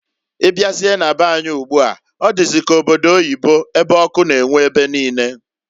Ị bịazie na be anyị ugbua ọ dịzị ka obodo oyibo ebe ọkụ na-enwu ebe niine.